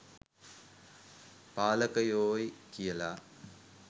පාලකයෝයි කියලා.